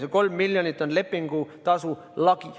See 3 miljonit on lepingutasu lagi.